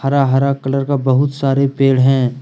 हरा हरा कलर का बहुत सारे पेड़ हैं।